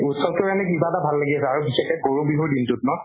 উৎসব টোৰ কাৰণে কিবা এটা ভাল লাগি আছে আৰু বিশেষকে গৰু বিহুৰ দিনটোত ন?